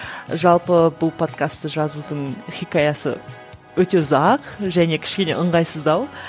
жалпы бұл подкасты жазудың хикаясы өте ұзақ және кішкене ыңғайсыздау